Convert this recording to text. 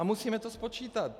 A musíme to spočítat.